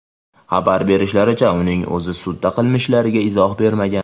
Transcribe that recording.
Xabar berishlaricha, uning o‘zi sudda qilmishlariga izoh bermagan.